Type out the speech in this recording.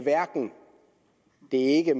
det ikke